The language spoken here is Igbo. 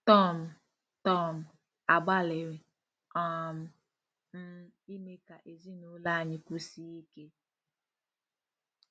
Tom: Tom: Agbalịrị um m ime ka ezinụlọ anyị kwụsie ike.